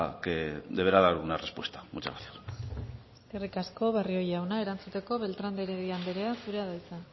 que deberá dar una respuesta muchas gracias eskerrik asko barrio jauna erantzuteko beltran de heredia andrea zurea da hitza